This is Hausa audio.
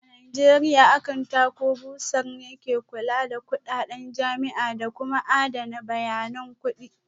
A Najeriya Akanta ko Bursar ne ke kula da kudaden jami'a da kuma adana bayanan kudi